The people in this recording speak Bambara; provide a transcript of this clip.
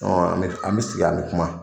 an be sigi an be kuma.